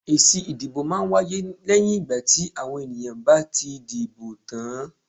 Èsì ìdìbò máa ń wáyé lẹ́yìn ìgbà tí àwọn èèyàn bá ti dìbò tán.